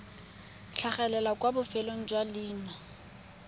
tlhagelela kwa bofelong jwa leina